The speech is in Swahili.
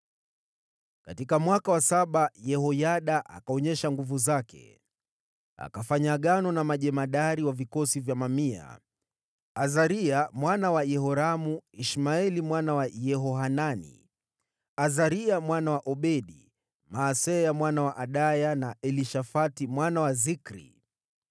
Katika mwaka wa saba, Yehoyada akaonyesha nguvu zake. Alifanya agano na wakuu wa vikosi vya mamia: yaani Azaria mwana wa Yerohamu, Ishmaeli mwana wa Yehohanani, Azaria mwana wa Obedi, Maaseya mwana wa Adaya, na Elishafati mwana wa Zikri.